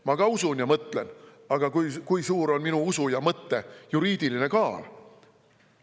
Ma ka usun ja mõtlen, aga kui suur on minu usu ja mõtte juriidiline kaal?